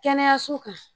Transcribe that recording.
Kɛnɛyaso kan